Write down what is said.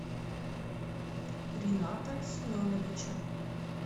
рината семеновича